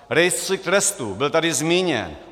Rejstřík trestů, byl tady zmíněn.